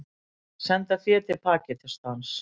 Senda fé til Pakistans